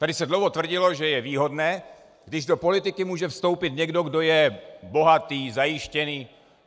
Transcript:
Tady se dlouho tvrdilo, že je výhodné, když do politiky může vstoupit někdo, kdo je bohatý, zajištěný.